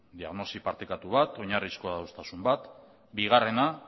partekatu bat oinarrizko adostasun bat bigarrena